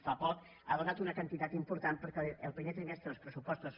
fa poc ha donat una quantitat important perquè al primer trimestre els pressupostos